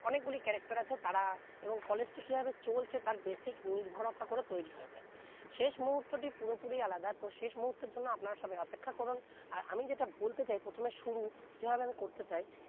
অনেক গুলি character আছে তারা এবং college টি কি ভেবে চলছে basic নির্ভরতা করে তৈরি হয়েছে শেষ মুহুতো টি পুরো পুরি আলাদা শেষ মুহুতোর জন্য আপনারা সবাই অপেক্ষা করুন আর আমি যেটা বলতে চাই প্রথমে শুরু যে ভাবে আমি করতে চাই